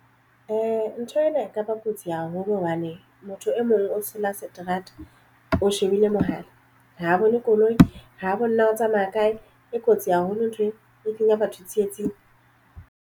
Ntho ena e kaba kotsi haholo hobane motho e mong o tshela seterata o shebile mohala ha bone koloi ha bone o tsamaya kae. E kotsi haholo ntho e kenya batho tsietsing.